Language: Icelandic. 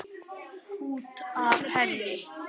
Út af henni!